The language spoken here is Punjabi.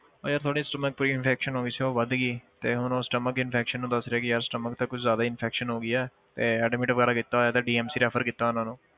ਉਹ ਯਾਰ ਥੋੜ੍ਹਾ stomach infection ਹੋ ਗਈ ਸੀ ਉਹ ਵੱਧ ਗਈ ਤੇ ਹੁਣ ਉਹ stomach infection ਨੂੰ ਦਸ ਰਹੇ ਕਿ ਯਾਰ stomach ਤਾਂ ਜ਼ਿਆਦਾ infection ਹੋ ਗਈ ਹੈ ਤੇ admit ਵਗ਼ੈਰਾ ਕੀਤਾ ਹੋਇਆ DMC refer ਕੀਤਾ ਉਹਨਾਂ ਨੂੰ,